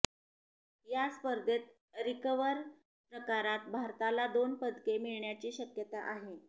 या स्पर्धेत रिकर्व्ह प्रकारात भारताला दोन पदके मिळण्याची शक्यता आहे